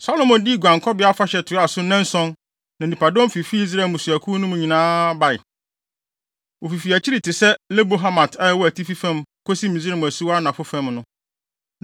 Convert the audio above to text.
Solomo dii Guankɔbea Afahyɛ toaa so nnanson na nnipadɔm fifi Israel mmusuakuw no nyinaa mu bae. Wofifi akyirikyiri te sɛ Lebo Hamat a ɛwɔ atifi fam kosi Misraim asuwa anafo fam no.